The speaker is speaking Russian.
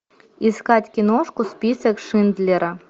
искать киношку список шиндлера